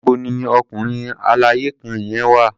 Níbo ni ọkùnrin aláya kan yẹn wà?